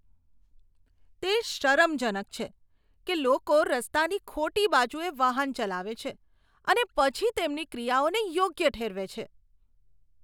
તે શરમજનક છે કે લોકો રસ્તાની ખોટી બાજુએ વાહન ચલાવે છે અને પછી તેમની ક્રિયાઓને યોગ્ય ઠેરવે છે.